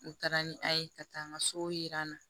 U taara ni a ye ka taa n ka so yira n na